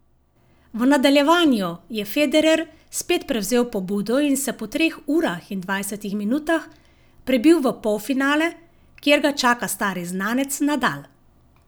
V nadaljevanju je Federer spet prevzel pobudo in se po treh urah in dvajsetih minutah prebil v polfinale, kjer ga čaka stari znanec Nadal.